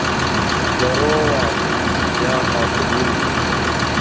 здорово я нахуй вырубился